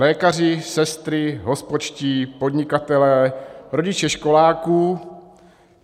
Lékaři, sestry, hospodští, podnikatelé, rodiče školáků.